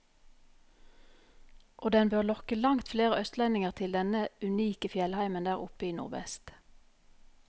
Og den bør lokke langt flere østlendinger til denne unike fjellheimen der oppe i nordvest.